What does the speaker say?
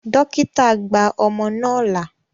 Dókítà gba ọmọ náà là.